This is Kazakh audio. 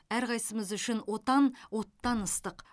әрқайсымыз үшін отан оттан ыстық